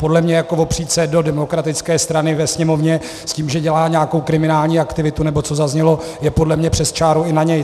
Podle mě opřít se do demokratické strany ve Sněmovně s tím, že dělá nějakou kriminální aktivitu, nebo co zaznělo, je podle mě přes čáru i na něj.